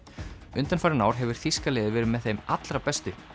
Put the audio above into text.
undanfarin ár hefur þýska liðið verið með þeim allra bestu